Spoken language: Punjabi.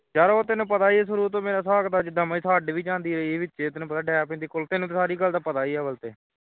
ਯਾਰ ਉਹ ਤੈਨੂੰ ਪਤਾ ਹੀ ਹੈ ਸ਼ੁਰੂ ਤੋਂ ਮੇਰਾ ਹਿਸਾਬ ਕਿਤਾਬ ਜਿਨਾ ਮਰਜੀ ਛੱਡ ਵੀ ਜਾਂਦੀ ਰਹੀ ਐ ਵਿਚੇ ਤੈਨੂੰ ਪਤਾ ਈ ਐ ਡੈ ਪੈਂਦੀ ਹੈ ਤੈਨੂੰ ਸਾਰੀ ਗੱਲ ਦਾ ਪਤਾ ਹੀ ਹੈ ਅੱਵਲ ਤੇ